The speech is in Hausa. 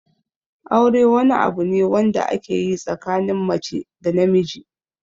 Aure wani abu ne wanda ake yi tsakanin mace da namiji.